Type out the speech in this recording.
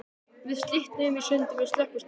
Við slitnuðum í sundur við Slökkvistöðina.